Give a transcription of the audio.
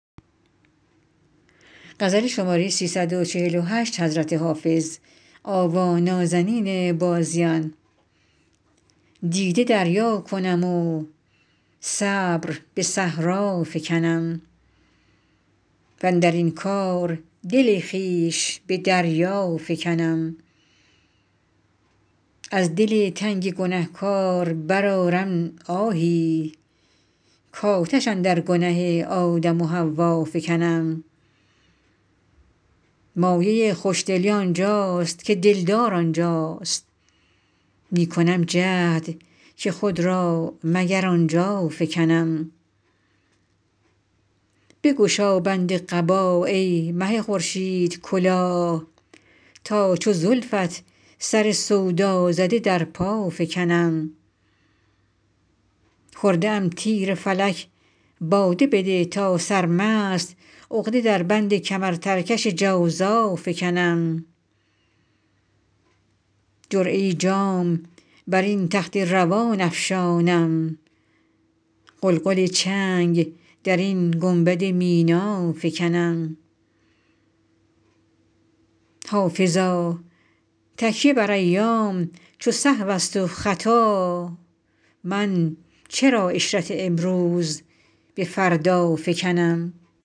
دیده دریا کنم و صبر به صحرا فکنم واندر این کار دل خویش به دریا فکنم از دل تنگ گنه کار برآرم آهی کآتش اندر گنه آدم و حوا فکنم مایه خوش دلی آن جاست که دل دار آن جاست می کنم جهد که خود را مگر آن جا فکنم بگشا بند قبا ای مه خورشیدکلاه تا چو زلفت سر سودا زده در پا فکنم خورده ام تیر فلک باده بده تا سرمست عقده در بند کمرترکش جوزا فکنم جرعه جام بر این تخت روان افشانم غلغل چنگ در این گنبد مینا فکنم حافظا تکیه بر ایام چو سهو است و خطا من چرا عشرت امروز به فردا فکنم